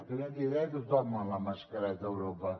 ha canviat d’idea tothom amb la mascareta a europa